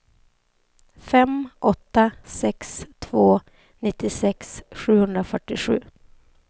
fem åtta sex två nittiosex sjuhundrafyrtiosju